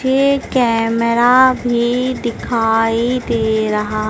ये कैमरा भी दिखाई दे रहा--